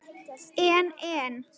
En en.